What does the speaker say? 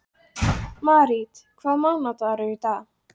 Marít, hvaða mánaðardagur er í dag?